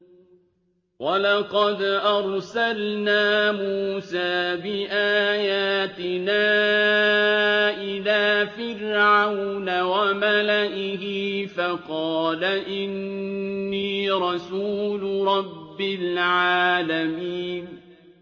وَلَقَدْ أَرْسَلْنَا مُوسَىٰ بِآيَاتِنَا إِلَىٰ فِرْعَوْنَ وَمَلَئِهِ فَقَالَ إِنِّي رَسُولُ رَبِّ الْعَالَمِينَ